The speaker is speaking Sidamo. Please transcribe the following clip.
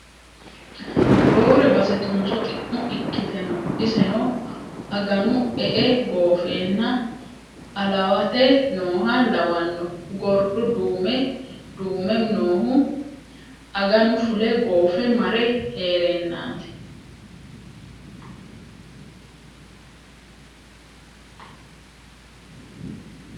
Roore base tunso xi'mo ikkite no iseno aganu e'e goofenna alawate nooha lawano gordu duume noohu aganu fule goofe mare heerennati.